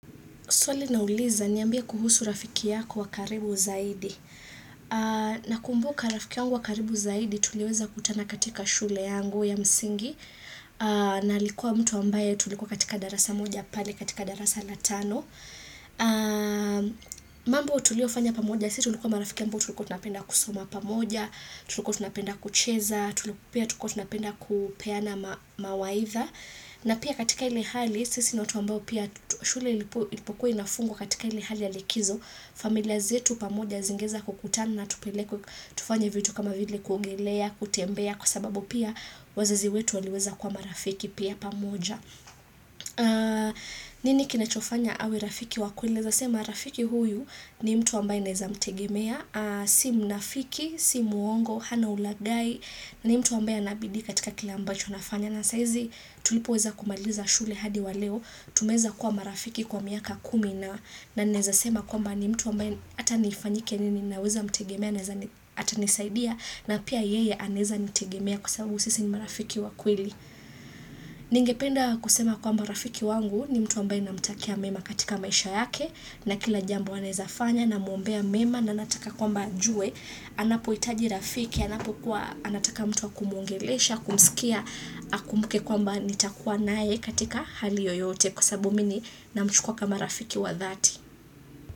Swali linauliza, niambiye kuhusu rafiki yako wakaribu zaidi. Na kumbuka rafiki yangu wakaribu zaidi, tuliweza kutana katika shule yangu ya msingi. Na alikuwa mtu ambaye tulikuwa katika darasa moja pale, katika darasa latano. Mambo tuliofanya pamoja, sisi tulikuwa marafiki ambao tulikuwa tunapenda kusoma pamoja, tulikuwa tunapenda kucheza, tulikuwa tunapenda kupeana mawaidha. Na pia katika ile hali, sisi ni watu ambao pia shule ilipokuwa inafungwa katika ile hali ya likizo, familia zetu pamoja zingeweza kukutana na tupelekwe, tufanya vitu kama vile kuogelea, kutembea, kwa sababu pia wazazi wetu waliweza kuwa marafiki pia pamoja. Nini kinachofanya awe rafiki wakweli Naweza sema rafiki huyu ni mtu ambaye naweza mtegemea Si mnafiki, si muongo, hana ulaghai ni mtu ambaye anabidii katika kile ambacho anafanya na saizi tulipo weza kumaliza shule hadi waleo tumeweza kuwa marafiki kwa miaka kumi na ninaweza sema kwamba ni mtu ambaye hata nifanyike nini naweza mtegemea atanisaidia na pia yeye anaweza nitegemea kwa sababu sisi ni marafiki wakweli Ningependa kusema kwamba rafiki wangu ni mtu ambaye namtakia mema katika maisha yake na kila jambo anawezafanya namuombea mema na nataka kwamba ajue anapo hitaji rafiki, anapo kuwa anataka mtu wa kumuongelesha, kumsikia, akumbuke kwamba nitakua naye katika hali yoyote kwasababu mimi ninamchukua kama rafiki wa dhati.